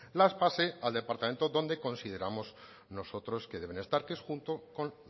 las pase al departamento donde consideramos nosotros que deben estar que es junto con